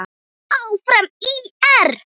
Áfram ÍR!